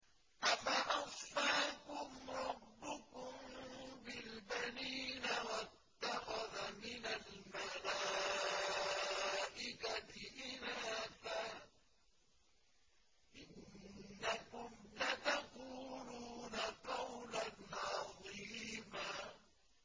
أَفَأَصْفَاكُمْ رَبُّكُم بِالْبَنِينَ وَاتَّخَذَ مِنَ الْمَلَائِكَةِ إِنَاثًا ۚ إِنَّكُمْ لَتَقُولُونَ قَوْلًا عَظِيمًا